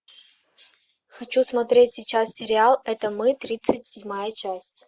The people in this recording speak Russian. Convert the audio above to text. хочу смотреть сейчас сериал это мы тридцать седьмая часть